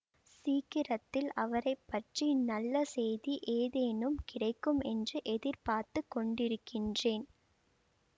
சீக்கிரத்தில் அவரை பற்றி நல்ல செய்தி ஏதேனும் கிடைக்கும் என்று எதிர்பார்த்து கொண்டிருக்கின்றேன்